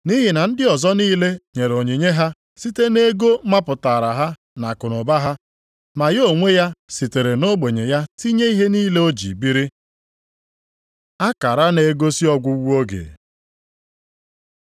Nʼihi na ndị ọzọ niile nyere onyinye ha site nʼego mapụtaara ha nʼakụnụba ha, ma ya onwe ya sitere nʼogbenye ya tinye ihe niile o ji biri.” Akara na-egosi ọgwụgwụ oge